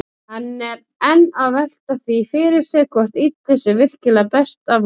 Hann er enn að velta því fyrir sér hvort illu sé virkilega best aflokið.